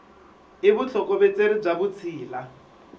i vutlhokovetseri bya vutshila